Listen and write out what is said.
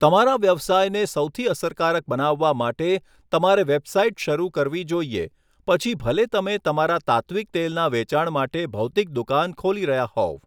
તમારા વ્યવસાયને સૌથી અસરકારક બનાવવા માટે, તમારે વેબસાઇટ શરૂ કરવી જોઈએ, પછી ભલે તમે તમારા તાત્ત્વિક તેલના વેચાણ માટે ભૌતિક દુકાન ખોલી રહ્યા હોવ.